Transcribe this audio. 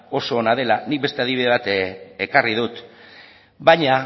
oso ona dela nik beste adibide bat ekarri dut baina